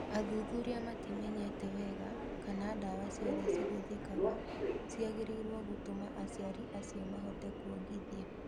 Athuthuria matimenyete wega kana ndawa ciothe cihũthĩkaga ciagĩrĩiro gũtũma aciari acio mahote kwongithia.